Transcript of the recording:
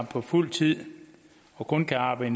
på fuld tid og kun kan arbejde